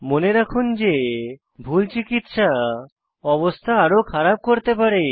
মনে রাখুন যে ভুল প্রাথমিক চিকিত্সা অবস্থা আরও খারাপ করতে পারে